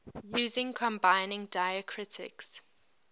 using combining diacritics